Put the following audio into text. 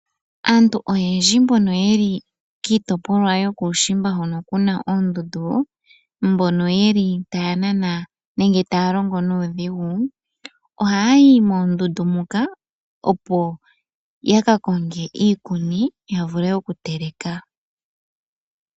Aantu oyendji mbono yeli kiitopolwa yokuushimba hono kuna oondundu, mbono yeli taya nana nenge taya longo nuudhigu ohaya yi moondundu moka opo ya ka konge iikuni ya vule okuteleka.